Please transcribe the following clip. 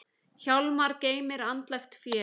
Hjálmar geymir andlegt fé.